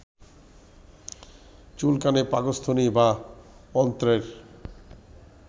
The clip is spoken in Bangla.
চুলকানী, পাকস্থলী বা অন্ত্রের